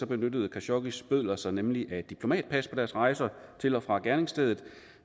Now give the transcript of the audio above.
benyttede khashoggis bødler sig nemlig af diplomatpas på deres rejser til og fra gerningsstedet